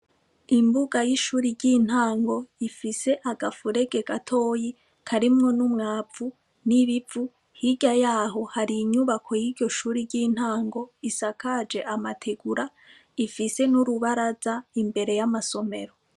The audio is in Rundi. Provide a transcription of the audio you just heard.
Imbuga y'ishuri ry'intango ifise agafurege gatoyi karimwo n'umwavu n'ibivu higa yaho hari inyubako y'iryo shuri ry'intango isakaje amategura ifise n'urubaraza imbere y'amasomero.